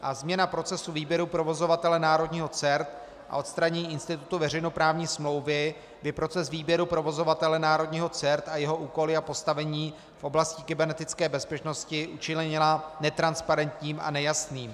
A změna procesu výběru provozovatele národního CERT a odstranění institutu veřejnoprávní smlouvy by proces výběru provozovatele národního CERT a jeho úkoly a postavení v oblasti kybernetické bezpečnosti učinila netransparentním a nejasným.